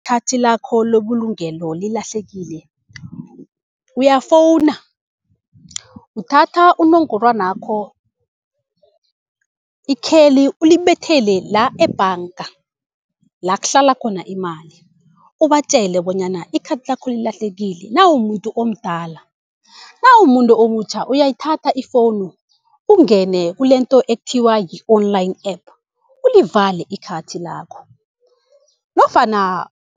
ikhathi lakho lobulungelo lilahlekile uyafowuna, uthatha unongorwanakho, ikheli ulibethele la ebhanga, la kuhlala khona imali. Ubatjele bonyana ikhathi lakho lilahlekile nawumumuntu omdala, nawumumuntu omutjha uyayithatha ifowunu ungene kulento ekuthiwa yi-online app ulivale ikhathi lakho. Nofana